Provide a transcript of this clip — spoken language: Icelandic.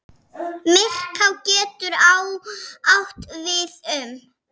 Myrká getur átt við um